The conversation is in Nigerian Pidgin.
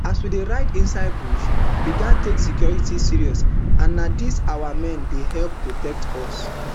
as we dey ride inside bush we get take security serious and na dis our men dey help protect us